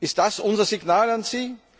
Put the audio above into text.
Ist das unser Signal an sie?